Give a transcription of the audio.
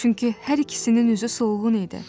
Çünki hər ikisinin üzü solğun idi.